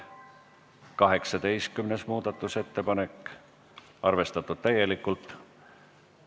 18. muudatusettepanek on arvestatud täielikult.